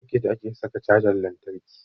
A soket ake saka cajan lantarki.